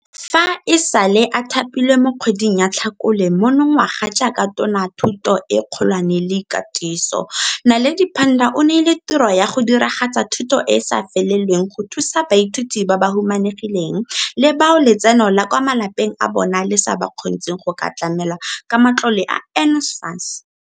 Fa e sale a thapilwe mo kgweding ya Tlhakole monongwaga jaaka Tona ya Thuto e Kgolwane le Katiso, Naledi Pandor o neilwe tiro ya go diragatsa thuto e e sa lefelelweng go thusa baithuti ba ba humanegileng le bao letseno la kwa malapeng a bo bona le sa ba kgontsheng go ka tlamelwa ka matlole a NSFAS.